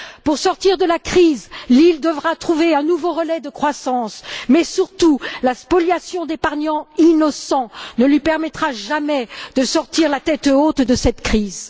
Pour sortir de la crise, l'île devra trouver un nouveau relais de croissance mais surtout, la spoliation d'épargnants innocents ne lui permettra jamais de sortir la tête haute de cette crise.